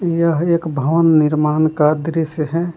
यह एक भवन निर्माण का दृस्य है।